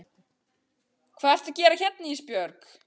Hvað ertu að gera hérna Ísbjörg?